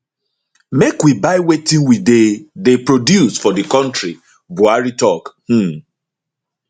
make we buy wetin we dey dey produce for di kontri buhari tok um